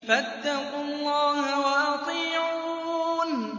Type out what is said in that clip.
فَاتَّقُوا اللَّهَ وَأَطِيعُونِ